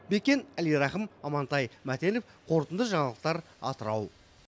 бекен әлирахым амантай мәтенов қорытынды жаңалықтар атырау